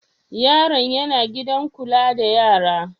Yaron yana gidan kula da yara?